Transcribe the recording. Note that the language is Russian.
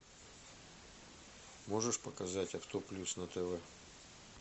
можешь показать авто плюс на тв